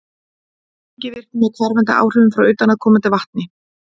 sprengivirkni með hverfandi áhrifum frá utanaðkomandi vatni